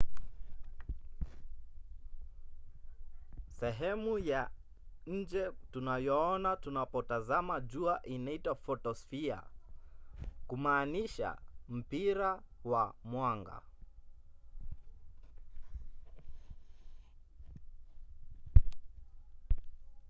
sehemu ya nje tunayoona tunapotazama jua inaitwa photosphere kumaanisha mpira wa mwanga